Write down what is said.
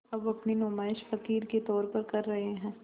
अब अपनी नुमाइश फ़क़ीर के तौर पर कर रहे हैं